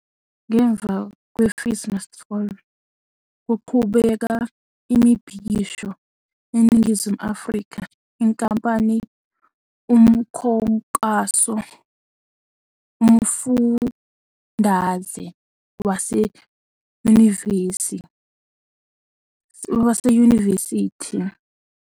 Ngemva kwe- FeesMustFall kuqhubeka imibhikisho eNingizimu Afrika, inkampani umkhankaso umfundaze waseyunivesithi Crowdfunding platform kanye umkhankaso ukulondoloza abafundi ezweni lonke ababesezweni yesikole ezikweletini ayebhekene okungafakwa wezimali ngo-2016